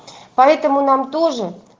поэтому нам тоже